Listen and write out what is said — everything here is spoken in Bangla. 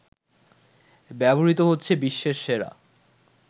ব্যবহৃত হচ্ছে বিশ্বের সেরা